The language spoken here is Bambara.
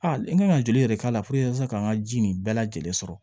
A n kan ka joli yɛrɛ k'a la ka n ka ji nin bɛɛ lajɛlen sɔrɔ